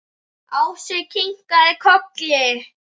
Ási kinkaði kolli.